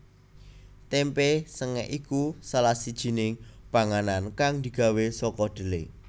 Témpé sengèk iku salah sijining panganan kang digawé saka dhelé